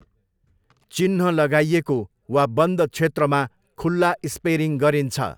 चिह्न लगाइएको वा बन्द क्षेत्रमा खुल्ला स्पेरिङ गरिन्छ।